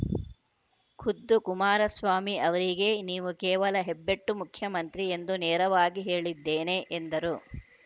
ಖುದ್ದು ಕುಮಾರಸ್ವಾಮಿ ಅವರಿಗೇ ನೀವು ಕೇವಲ ಹೆಬ್ಬೆಟ್ಟು ಮುಖ್ಯಮಂತ್ರಿ ಎಂದು ನೇರವಾಗಿ ಹೇಳಿದ್ದೇನೆ ಎಂದರು